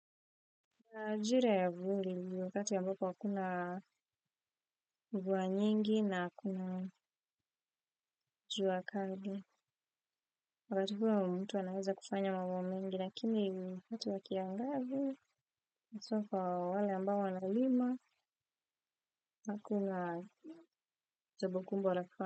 Majira ya vuli ni wakati ambapo hakuna mvua nyingi na kuna jua kali wakati huo mtu anaweza kufanya mambo mengi lakini wakati wa kiangazi haswa kwa wale ambao wanalima hakuna jambo kubwa la kufanya.